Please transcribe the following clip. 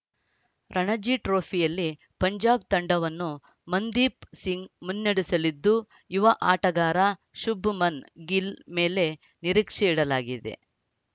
ರಣಜಿ ಟ್ರೋಫಿಯಲ್ಲಿ ಪಂಜಾಬ್‌ ತಂಡವನ್ನು ಮನ್‌ದೀಪ್‌ ಸಿಂಗ್‌ ಮುನ್ನಡೆಸಲಿದ್ದು ಯುವ ಆಟಗಾರ ಶುಭ್‌ಮನ್‌ ಗಿಲ್‌ ಮೇಲೆ ನಿರೀಕ್ಷೆ ಇಡಲಾಗಿದೆ